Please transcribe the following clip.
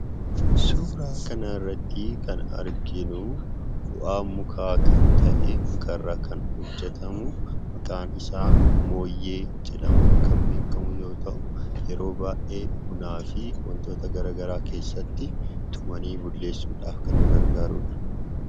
Suuraa kana irrattii kan arginuu bu'aa mukaa kan ta'ee mukarraa kan hojjetamuu maqaan isaa mooyyee jedhamuun kan beekkamu yoo ta'u yeroo baay'ee bunaa fi wantoota garagaraa keessatti tumanii bulleessuudhaaf kan nu gargaarudha.